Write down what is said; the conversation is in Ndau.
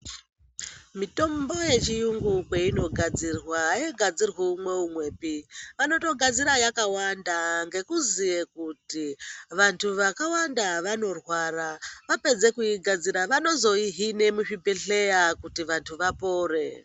Mitombo yechiyungu kweinogadzirwa aigadzirwi umwe umwepi vanotogadzira yakawanda ngekuziye kuti vantu vakawanda vanorwara. Vapedze kuigadzira vanozoihine muzvibhedhlera kuti vantu vapore.